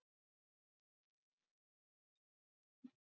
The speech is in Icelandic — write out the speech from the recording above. Sunna Sæmundsdóttir: Og Katrín sem forsætisráðherra?